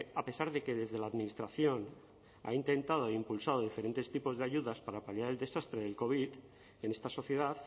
a pesar de que desde la administración se han intentado e impulsado diferentes tipos de ayudas para paliar el desastre del covid en esta sociedad